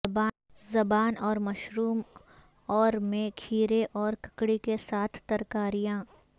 زبان اور مشروم اور میں کھیرے اور ککڑی کے ساتھ ترکاریاں